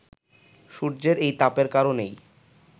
সূর্যের এই তাপের কারণেই